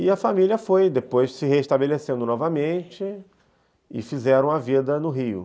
E a família foi depois se restabelecendo novamente e fizeram a vida no rio.